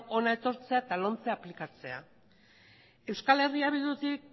hona etortzea eta lomce aplikatzea eh bildutik